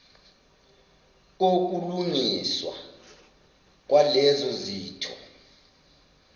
kokulungiswa kwalezo zitho